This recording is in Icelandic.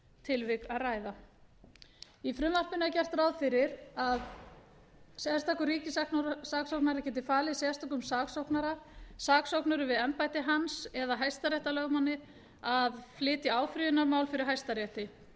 tilvik að ræða í frumvarpinu er gert ráð fyrir því að sérstakur ríkissaksóknari geti falið sérstökum saksóknara saksóknurum við embætti hans eða hæstaréttarlögmanni að flytja áfrýjunarmál fyrir hæstarétti